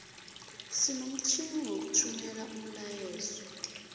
sinomtjhini wokuthumela umlayeezo